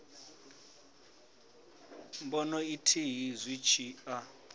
bono ithihi zwi tshi a